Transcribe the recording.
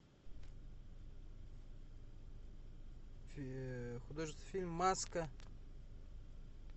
художественный фильм маска